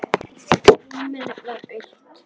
Rúmið var autt.